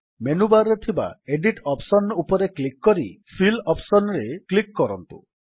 menu bar ରେ ଥିବା edit option ଉପରେ କ୍ଲିକ୍ କରି ଫିଲ୍ ଅପ୍ସନ୍ ରେ କ୍ଲିକ୍ କରନ୍ତୁ